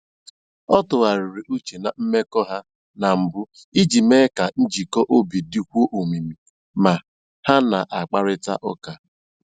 Ọ tụgharịrị uche na mmekọ ha na mbụ iji mee ka njikọ obi dịkwuo omimi ma ha na a kparịkọta ụka